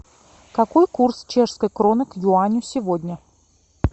какой курс чешской кроны к юаню сегодня